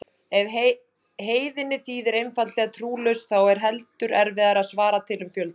Ef heiðinn þýðir einfaldlega trúlaus þá er heldur erfiðara að svara til um fjölda.